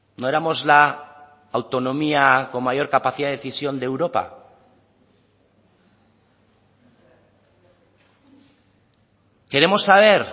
no éramos la autonomía con mayor capacidad de decisión de europa queremos saber